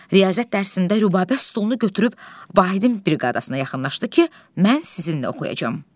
Riyaziyyat dərsində Rübəbə stolunu götürüb Vahidin briqadasına yaxınlaşdı ki, mən sizinlə oxuyacam.